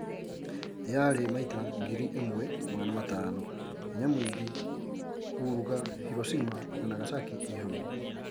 yaari maita ngiri ĩmwe magana matano hinya mwing kuruga Hiroshima na Nagashaki ii hamwe